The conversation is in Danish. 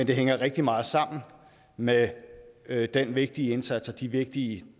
det hænger rigtig meget sammen med med den vigtige indsats og de vigtige